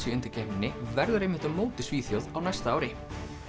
í undankeppninni verður á móti Svíþjóð á næsta ári